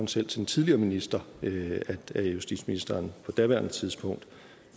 til den tidligere minister at justitsministeren på daværende tidspunkt